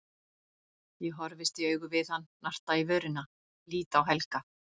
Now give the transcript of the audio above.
Ég horfist í augu við hann, narta í vörina, lít á Helga.